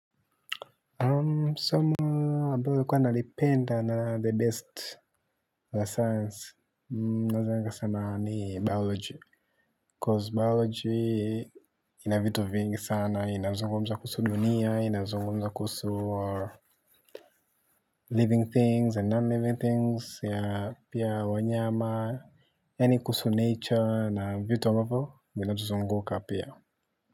Kuwa nalipenda na the best lessons, naeza nikasema ni biology. Coz biology ina vitu vingi sana, inazungumza kuhusu dunia, inazungumza kuhusu living things and non-living things. Ya pia wanyama, yaani kuhusu nature na vitu ambavyo, vinatuzunguka pia.